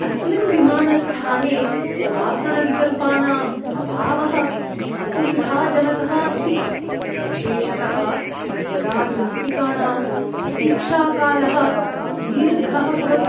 अस्मिन् विमानस्थाने आसनविकल्पानां अभावः असुविधाजनकः अस्ति, विशेषतः यदा यात्रिकाणां प्रतीक्षाकालः दीर्घः भवति।